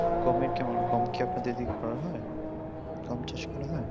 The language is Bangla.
গমের কেমন গম কি আপনাদের দিকে করা হয় গম চাষ করা হয়